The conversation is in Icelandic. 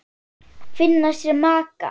Finna sér maka.